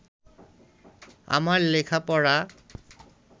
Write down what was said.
আমার লেখাপড়া